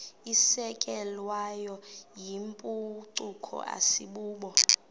isukelwayo yimpucuko asibubo